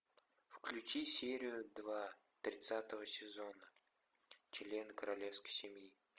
включи серию два тридцатого сезона член королевской семьи